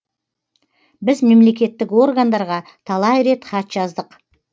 біз мемлекеттік органдарға талай рет хат жаздық